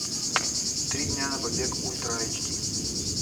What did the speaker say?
три дня на побег ультра айч ди